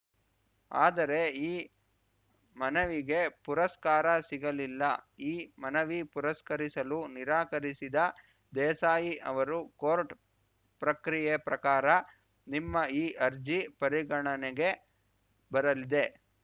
ಆದರೆ ಈ ಮನವಿಗೆ ಪುರಸ್ಕಾರ ಸಿಗಲಿಲ್ಲ ಈ ಮನವಿ ಪುರಸ್ಕರಿಸಲು ನಿರಾಕರಿಸಿದ ದೇಸಾಯಿ ಅವರು ಕೋರ್ಟ್‌ ಪ್ರಕ್ರಿಯೆ ಪ್ರಕಾರ ನಿಮ್ಮ ಈ ಅರ್ಜಿ ಪರಿಗಣನೆಗೆ ಬರಲಿದೆ